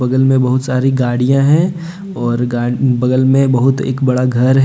जिनमें बहुत सारी गाड़ियां हैं और गा बगल में बहुत एक बड़ा घर है।